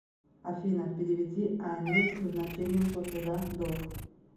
афина переведи анне с назначением платежа долг